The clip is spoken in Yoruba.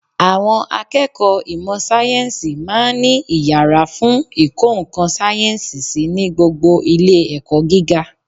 Àwọn akẹ́kọ̀ọ́ ìmọ̀ Sáyẹ́ǹsì máa ń ní iyàrá fún ìkọ́ ńkan sáyẹ́ǹsì sí ní gbogbo Ilé ẹ̀kọ́ gíga